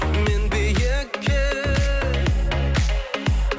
мен биікке